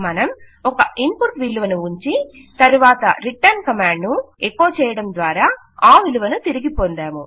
మనం ఒక ఇన్పుట్ విలువను ఉంచి తరువాత రిటర్న్ కమాండ్ ను ఎకొ చేయడం ద్వారా ఆ విలువను తిరిగి పొందాము